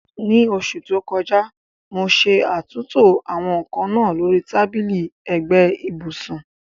Ní oṣù tó kọjá, mo ṣe àtúntò àwọn nkan náà lórí tábìlì ẹ̀gbẹ́ ibùsùn.